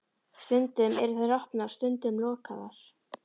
Stundum eru þær opnar, stundum lokaðar.